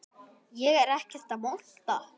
Ég er ekkert að monta.